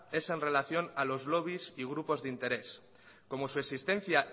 es en relación a los lobbies y grupos de interés como su existencia